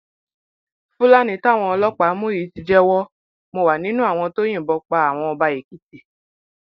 fúlàní táwọn ọlọpàá mú yìí ti jẹwọ mo wà nínú àwọn tó yìnbọn pa àwọn ọba èkìtì